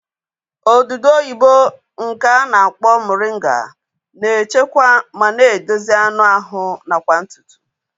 Odudu oyibo nke a na-akpọ moringa na-echekwa ma na-edozi anụ ahụ nakwa ntutu